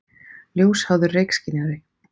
Ljósháður reykskynjari.